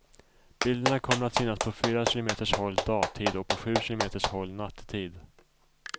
Bilderna kommer att synas på fyra kilometers håll dagtid och på sju kilometers håll nattetid.